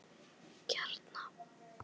Kjarna